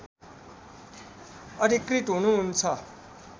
अधिकृत हुनुहुन्छ